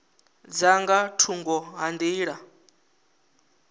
dza nga thungo ha nḓila